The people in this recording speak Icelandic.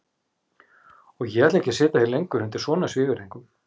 Og ég ætla ekki að sitja hér lengur undir svona svívirðingum.